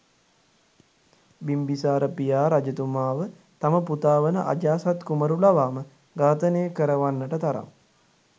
බිම්බිසාර පියා රජතුමාව තම පුතා වන අජාසත් කුමාරු ලවාම ඝාතනය කරවන්නට තරම්